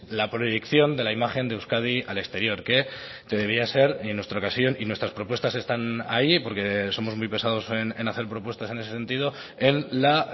la proyección de la imagen de euskadi al exterior que debería ser y en nuestra ocasión y nuestras propuestas están ahí porque somos muy pesados en hacer propuestas en ese sentido en la